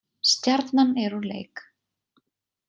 Stjarnan er úr leik